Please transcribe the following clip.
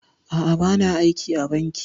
A'a, ba na aiki a banki